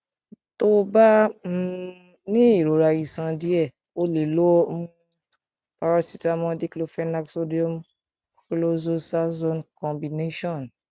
tó o bá um ní ìrora iṣan díẹ o lè lo um paracetamol diclofenac sodium chlorzoxasone combination